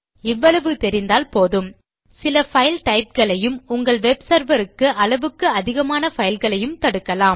இவ்வளவு தெரிந்தால் போதும் சில பைல் டைப் களையும் உங்கள் யூர் வெப் செர்வர் க்கு அளவுக்கு அதிகமான பைல்களையும் தடுக்கலாம்